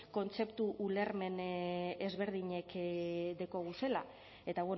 kontzeptu ulermen ezberdinak daukaguzela eta